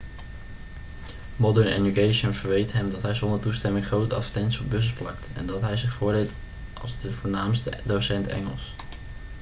modern education verweet hem dat hij zonder toestemming grote advertenties op bussen plakte en dat hij zich voordeed als de voornaamste docent engels